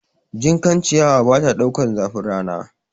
Jinkan ciyawa bata ɗaukar zafin rana